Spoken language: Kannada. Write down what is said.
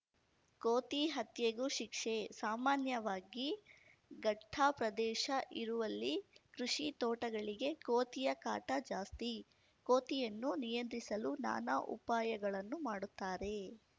ಕೋತಿ ಹತ್ಯೆಗೂ ಶಿಕ್ಷೆ ಸಾಮಾನ್ಯವಾಗಿ ಘಟ್ಟಪ್ರದೇಶ ಇರುವಲ್ಲಿ ಕೃಷಿ ತೋಟಗಳಿಗೆ ಕೋತಿಯ ಕಾಟ ಜಾಸ್ತಿ ಕೋತಿಯನ್ನು ನಿಯಂತ್ರಿಸಲು ನಾನಾ ಉಪಾಯಗಳನ್ನು ಮಾಡುತ್ತಾರೆ